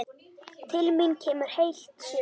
Til mín kemur heilt sumar.